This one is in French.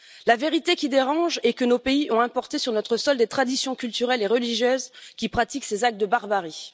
La vérité qui dérange est que nos pays ont importé sur notre sol des traditions culturelles et religieuses qui pratiquent ces actes de barbarie.